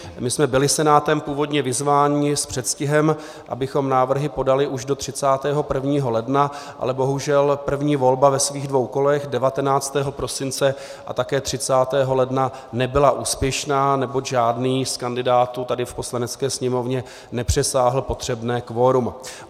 My jsme byli Senátem původně vyzváni s předstihem, abychom návrhy podali už do 31. ledna, ale bohužel první volba ve svých dvou kolech 19. prosince a také 30. ledna nebyla úspěšná, neboť žádný z kandidátů tady v Poslanecké sněmovně nepřesáhl potřebné kvorum.